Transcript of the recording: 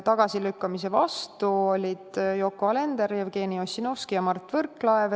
Tagasilükkamise vastu olid Yoko Alender, Jevgeni Ossinovski ja Mart Võrklaev.